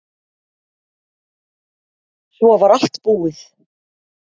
Svo var allt búið.